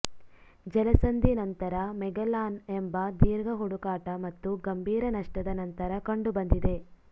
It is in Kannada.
ಜಲಸಂಧಿ ನಂತರ ಮೆಗೆಲ್ಲಾನ್ ಎಂಬ ದೀರ್ಘ ಹುಡುಕಾಟ ಮತ್ತು ಗಂಭೀರ ನಷ್ಟದ ನಂತರ ಕಂಡುಬಂದಿದೆ